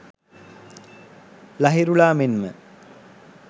ලහිරුලා මෙන්ම